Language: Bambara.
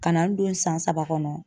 Ka na n don san saba kɔnɔ.